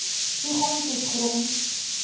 toegang tot grond